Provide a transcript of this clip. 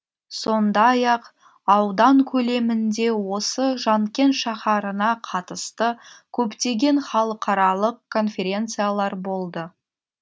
сондай ақ аудан көлемінде осы жанкент шаһарына қатысты көптеген халықаралық конференциялар болды